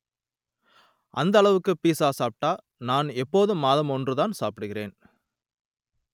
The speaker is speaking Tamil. அந்த அளவுக்கு பீட்ஸா சாப்பிட்ட நான் இப்போது மாதம் ஒன்றுதான் சாப்பிடுகிறேன்